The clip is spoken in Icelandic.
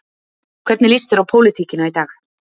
Hvernig lýst þér á pólitíkina í dag?